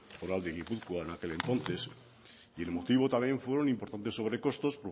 foral de gipuzkoa en aquel entonces y el motivo también fueron importantes sobrecostos